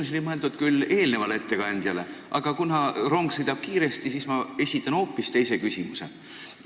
Ma olin mõelnud küsida küll eelnevalt ettekandjalt, aga kuna rong sõidab kiiresti, siis ma esitan nüüd teile hoopis teise küsimuse.